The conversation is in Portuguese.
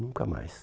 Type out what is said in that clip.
Nunca mais.